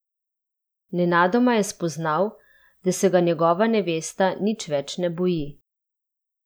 Nenadoma je spoznal, da se ga njegova nevesta nič več ne boji.